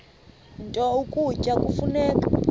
nto ukutya kufuneka